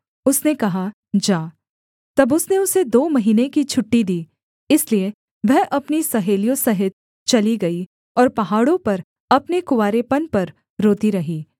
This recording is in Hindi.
उसने कहा जा तब उसने उसे दो महीने की छुट्टी दी इसलिए वह अपनी सहेलियों सहित चली गई और पहाड़ों पर अपने कुँवारेपन पर रोती रही